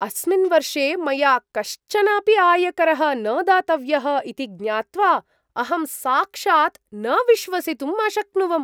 अस्मिन् वर्षे मया कश्चन अपि आयकरः न दातव्यः इति ज्ञात्वा अहं साक्षात् न विश्वसितुम् अशक्नुवम्!